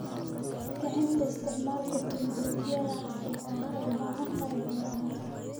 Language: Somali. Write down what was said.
Kicinta isticmaalka tignoolajiyada casriga ah waxay muhiim u tahay beeraha.